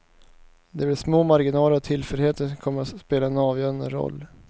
Det blir små marginaler och tillfälligheter kommer att spela en avgörande roll.